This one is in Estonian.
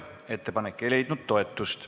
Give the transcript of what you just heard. Ettepanek ei leidnud toetust.